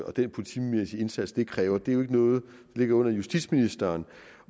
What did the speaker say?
og den politimæssige indsats det kræver ligger under justitsministeren